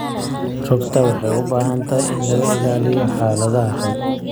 Rugta waxay u baahan tahay in laga ilaaliyo xaaladaha xun.